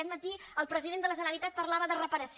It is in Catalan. aquest matí el president de la generalitat parlava de reparació